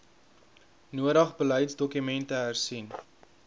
nodig beleidsdokumente hersien